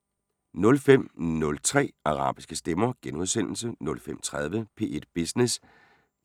05:03: Arabiske stemmer * 05:30: P1 Business